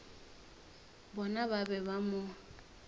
bona ba be ba mo